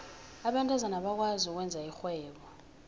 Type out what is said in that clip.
abentazana abakwazi ukwenza irhwebo